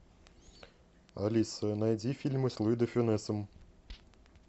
алиса найди фильмы с луи де фюнесом